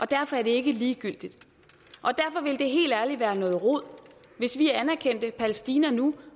derfor er det ikke ligegyldigt og derfor ville det helt ærligt være noget rod hvis vi anerkendte palæstina nu